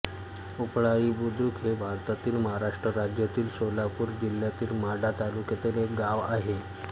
उपळाई बुद्रुक हे भारतातील महाराष्ट्र राज्यातील सोलापूर जिल्ह्यातील माढा तालुक्यातील एक गाव आहे